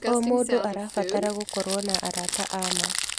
O mũndũ arabatara gũkorwo na arata a ma.